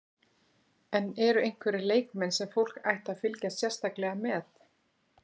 En eru einhverjir leikmenn sem fólk ætti að fylgjast sérstaklega með?